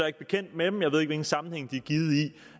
ikke bekendt med dem jeg ved ikke i hvilken sammenhæng de